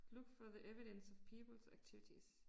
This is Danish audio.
Look for the evidence of people's activities